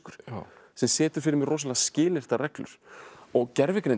sem setur fyrir mig rosalega skilyrtar reglur og gervigreindin